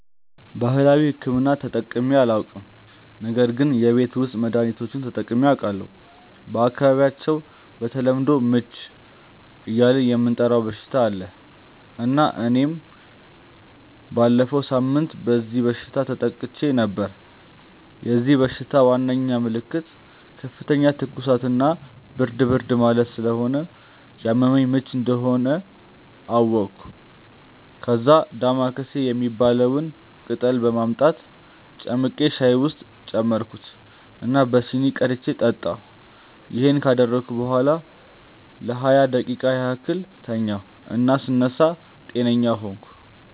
ባህላዊ ሕክምና ተጠቅሜ አላውቅም ነገር ግን የቤት ውስጥ መድሀኒቶችን ተጠቅሜ አውቃለሁ። በአካባቢያቸው በተለምዶ "ምች" እያልን የምንጠራው በሽታ አለ እና እኔም ባለፈው ሳምንት በዚህ በሽታ ተጠቅቼ ነበር። የዚህ በሽታ ዋናው ምልክት ከፍተኛ ትኩሳት እና ብርድ ብርድ ማለት ስለሆነ ያመመኝ ምች መሆኑን አወቅኩ። ከዛ "ዳማከሴ" የሚባለውን ቅጠል በማምጣት ጨምቄ ሻይ ውስጥ ጨመርኩት እና በሲኒ ቀድቼ ጠጣሁ። ይሄን ካደረግኩ በኋላ ለሃያ ደቂቃ ያህል ተኛሁ እና ስነሳ ጤነኛ ሆንኩ።